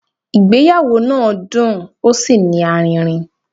Ìgbéyàwó náà dùn ó sí ní aririn